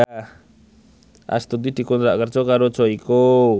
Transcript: Astuti dikontrak kerja karo Joyko